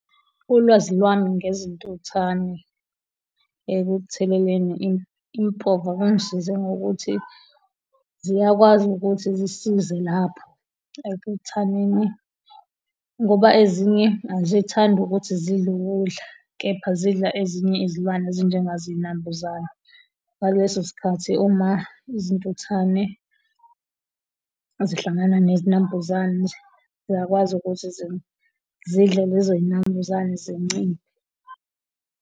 Ulwazi lwami ngezintuthwane ekutheleleni impova kwangisiza ngokuthi ziyakwazi ukuthi zisize lapho ekuthaneni ngoba ezinye azithandi ukuthi zidle ukudla kepha zidla ezinye izilwane ezinjengazo izinambuzane ngaleso sikhathi uma izintuthane zihlangana nezinombuzane ziyakwazi ukuthi zidle lezo zinambuzane zinciphe.